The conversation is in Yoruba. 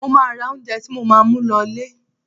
Mo máa ra oúnjẹ tí mo máa mú lọ ilẹ̀.